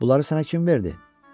Bunları sənə kim verdi?